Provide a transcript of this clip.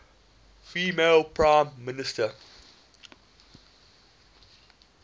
female prime minister